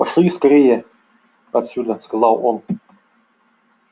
пошли отсюда скорее сказал он